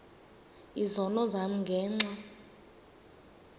izono zam ngenxa